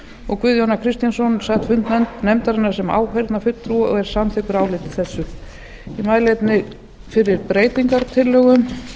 og guðjón a kristjánsson sat fund nefndarinnar sem áheyrnarfulltrúi og er samþykkur áliti þessu ég mæli einnig fyrir breytingartillögum